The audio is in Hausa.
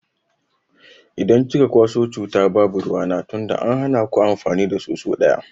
Idan kika kwaso cuta babu ruwana tunda an hana ku amfani da soso daya.